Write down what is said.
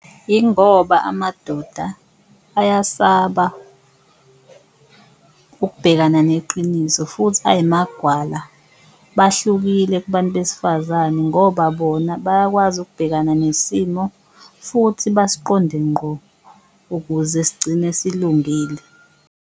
Ingoba amadoda ayasaba ukubhekana neqiniso futhi ayimagwala bahlukile kubantu besifazane, ngoba bona bayakwazi ukubhekana nesimo futhi basiqonde ngqo ukuze sigcine silungile.